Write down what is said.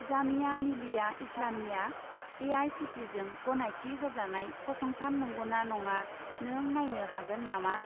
जामिया मिलिया इस्लामियाआ ए.आइ.सि.टि.इ.जों गनायथि होजानाय फसंथान नंगौना नङा नों नायनो हागोन नामा?